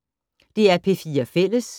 DR P4 Fælles